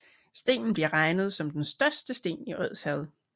Stenen bliver regnet som den største sten i Odsherred